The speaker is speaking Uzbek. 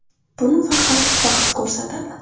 Buni faqat vaqt ko‘rsatadi.